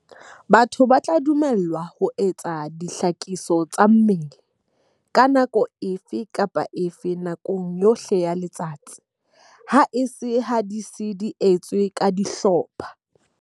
Batho ba tla dumellwa ho etsa dihlakiso tsa mmele ka nako efe kapa efe nakong yohle ya letsatsi, haese ha di sa etswe ka dihlopha.